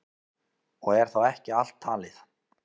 Og er þá ekki allt talið.